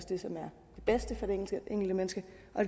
det som er det bedste for det enkelte menneske